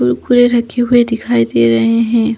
कुरकुरे रखे हुए दिखाई दे रहे है।